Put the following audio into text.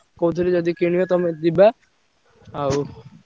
କହୁଥିଲି ଯଦି କିଣିବା ତମେ ଯିବା ଆଉ।